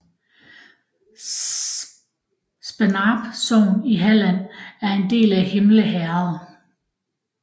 Spannarp sogn i Halland var en del af Himle herred